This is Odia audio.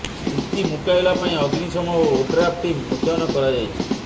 ସ୍ଥିତି ମୁକାବିଲା ପାଇଁ ଅଗ୍ନିଶମ ଓ ଓଡ୍ରାଫ ଟିମ ମୁତୟନ କରାଯାଇଛି